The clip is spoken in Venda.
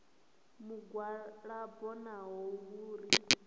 mugwalabo naho hu uri zwi